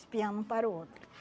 Espiando um para o outro.